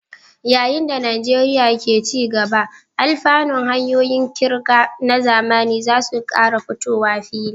Yayin da Najeriya ke ci gaba, alfanun hanyoyin ƙirga na zamani za su ƙara fitowa fili.